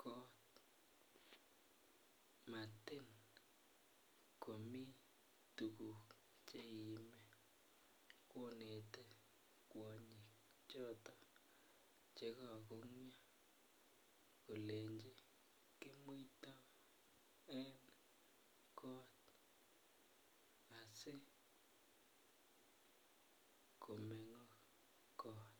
kot Matin komi tuguk Che iime konete kwonyik choton Che kagongyo kolenjin kimuito en kot asi komengok kot